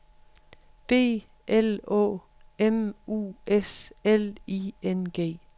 B L Å M U S L I N G